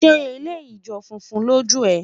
ṣé eleyii jọ funfun lòó jù é?